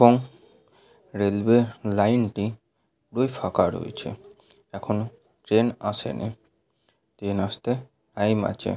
এবং railway line টি পুরোই ফাঁকা রয়েছে এখনো ট্রেন আসেনি ট্রেন আসতে টাইম আছে--